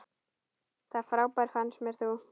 Það frábær fannst mér þú.